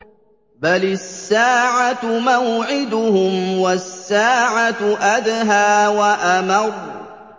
بَلِ السَّاعَةُ مَوْعِدُهُمْ وَالسَّاعَةُ أَدْهَىٰ وَأَمَرُّ